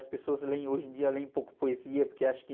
As pessoas leem, hoje em dia, leem pouco poesia, porque acham que...